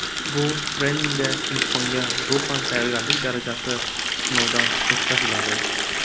Bu treningda imtihonga ruhan tayyorgarlik darajasi sinovdan o‘tkaziladi.